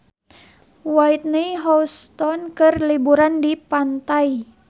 Whitney Houston keur liburan di pantai